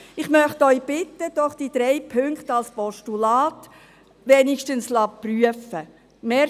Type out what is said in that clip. Ich möchte Sie bitten, diese drei Punkte wenigstens als Postulat prüfen zu lassen.